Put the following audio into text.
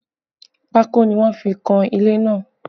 Pako ni wọ́n fi kan ilé náà